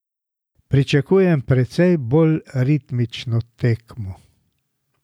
Pričakujem precej bolj ritmično tekmo.